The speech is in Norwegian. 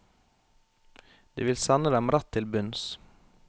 Det vil sende dem rett til bunns.